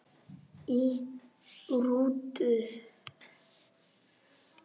Í rútu